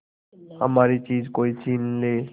हमारी चीज कोई छीन ले